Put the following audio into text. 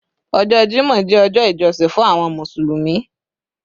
Ọjọ́ Jímọ̀ jẹ́ ọjọ́ ìjọsìn fún àwọn Mùsùlùmí